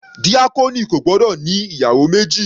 Díákónì kò gbọ́dọ̀ ní ìyàwó méjì.